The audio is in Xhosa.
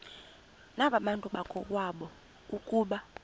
nabantu bakowabo ukuba